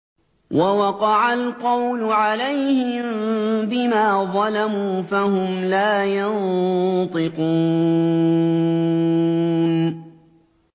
وَوَقَعَ الْقَوْلُ عَلَيْهِم بِمَا ظَلَمُوا فَهُمْ لَا يَنطِقُونَ